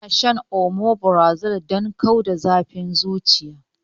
Ana shan omeprazole don kau da zafin zuciya